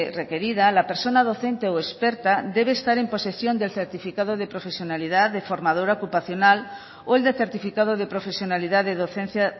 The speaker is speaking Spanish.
requerida la persona docente o experta debe estar en posesión del certificado de profesionalidad de formadora ocupacional o el de certificado de profesionalidad de docencia